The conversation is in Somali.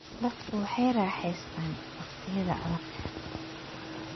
Dadku waxay raaxaystaan ??wakhtiyada adag.